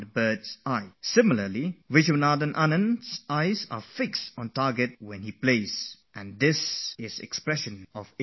In the same way, when we watch Vishwanathan playing chess we see his eyes set on the target, focussed on the game very attentively, and that is a reflection of his inner tranquillity